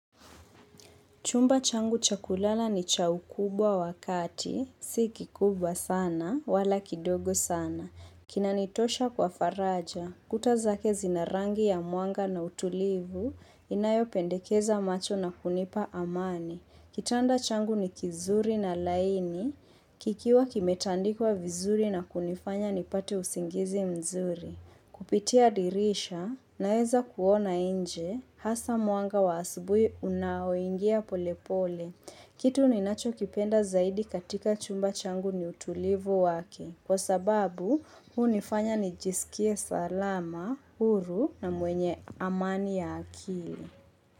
Chumba changu cha kulala ni cha ukubwa wa kati, si kikubwa sana, wala kidogo sana. Kinanitosha kwa faraja, kuta zake zina rangi ya mwanga na utulivu, inayopendekeza macho na kunipa amani. Kitanda changu ni kizuri na laini, kikiwa kimetandikwa vizuri na kunifanya nipate usingizi mzuri. Kupitia dirisha naeza kuona inje hasa mwanga wa asubui unaoingia polepole. Kitu ninachokipenda zaidi katika chumba changu ni utulivu wake. Kwa sababu hunifanya nijisikie salama, huru na mwenye amani ya akili.